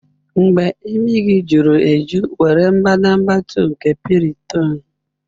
Mgbe imi gị juru eju, were mbadamba 2 nke Piriton.